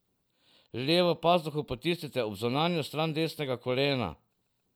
Levo pazduho potisnite ob zunanjo stran desnega kolena.